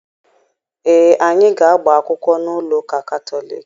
Ee, anyị ga-agba akwụkwọ n'ụlọ ụka Katọliki.